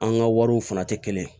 An ka wariw fana tɛ kelen ye